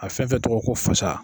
A fɛn fɛn tɔgɔ ye ko fasa